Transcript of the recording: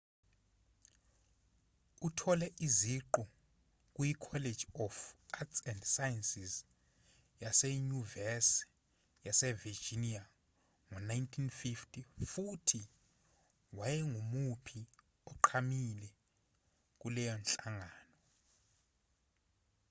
uthole iziqu kuyicollege of arts & sciences yasenyuvesi yasevirginia ngo-1950 futhi wayengumuphi oqhamile kuleyo nhlangano